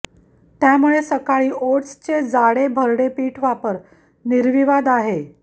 त्यामुळे सकाळी ओटचे जाडे भरडे पीठ वापर निर्विवाद आहे